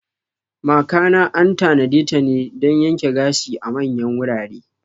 Makana an tanadeta dan yanke gashi a manyan wurare.